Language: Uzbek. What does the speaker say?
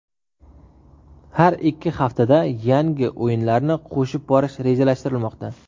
Har ikki haftada yangi o‘yinlarni qo‘shib borish rejalashtirilmoqda.